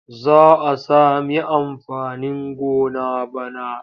Za a sami amfanin gona bana.